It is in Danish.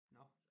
Nåh